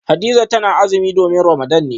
Hadiza tana azumi domin Ramadan ne